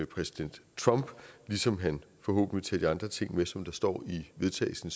præsident trump ligesom han forhåbentlig tager de andre ting som der står i vedtagelsen